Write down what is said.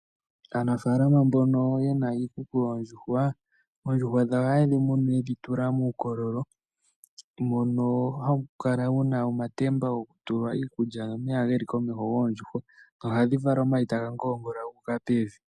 Aanafalama mbono ye na iikuku yoondjuhwa oondjuhwa dhawo ohaye dhi munu ye dhi tula muukololo, mbono hawu kala wu na omatemba gokutula iikulya nomeya goondjuhwa noha ga vala omayi taga ngoongola gu uka pevi.